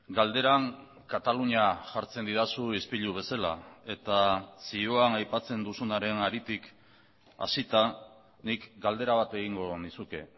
galderan katalunia jartzen didazu ispilu bezala eta zioan aipatzen duzunaren haritik hasita nik galdera bat egingo nizuke